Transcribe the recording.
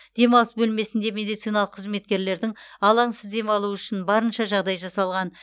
демалыс бөлмесінде медициналық қызметкерлердің алаңсыз демалуы үшін барынша жағдай жасалған